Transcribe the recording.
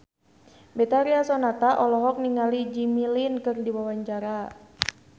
Betharia Sonata olohok ningali Jimmy Lin keur diwawancara